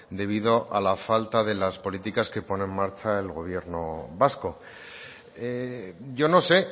debido a la falta de las políticas que pone en marcha el gobierno vasco yo no sé